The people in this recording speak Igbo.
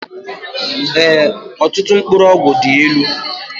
Ee ọtụtụ mkpụrụ ọgwụ dị ịlụ